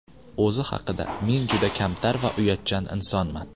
O‘zi haqida: Men juda kamtar va uyatchan insonman.